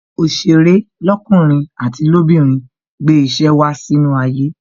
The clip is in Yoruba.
Òsèré lọkunrin àti lobinrin gbé ìṣe wá sínú ayé